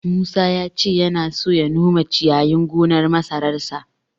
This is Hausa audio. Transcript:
Musa ya ce yana so ya nome ciyayin gonar masararsa.